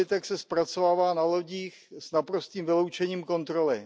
dobytek se zpracovává na lodích s naprostým vyloučením kontroly.